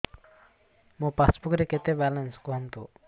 ମୋ ପାସବୁକ୍ ରେ କେତେ ବାଲାନ୍ସ କୁହନ୍ତୁ